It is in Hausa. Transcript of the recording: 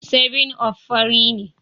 7up fari ne.